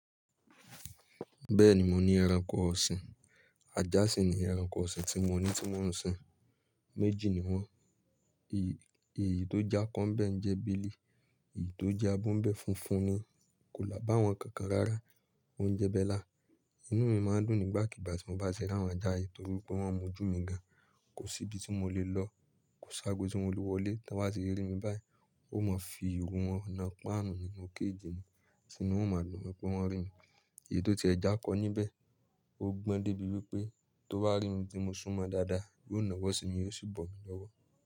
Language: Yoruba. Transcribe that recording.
Bẹ́ẹ̀ni mo ní ẹranko ọ̀sìn. Ajá sì ni ẹranko ọ̀sìn tí mo ní tí mo ń sin. Méjì ni wọ́n. Èyí tó je ako bẹ́ ń jẹ́ bílí, èyí tó je abọ́ ń bẹ́ funfun ni. Kò lá bá wọn kankan rárá. Ó ń jẹ bella. Inú mi máa ń dùn nígbàkigbà tí mo bá ti ri áwọn ajá yìí torí pé wọ́n mójú mi gan. Kò sí ibi tí mo lè lọ, kò sí agbo tí mo lè wọlé tí wọ́n ba ti rí mi báyìí. Won ma fi ìru wọ̀n na páànù nínú cage ni, tì inu wọ́n oo máa dùn wọ́n pé wọ́n rí mi. Èyí tó ti ẹ je akọ níbẹ̀, ó gbọ́n débi wípé tó bá rí mi tí mo súmọ́ dáadáa, yóò nàwó sí mi, yóò sì bọ̀ mí lọ́wọ́.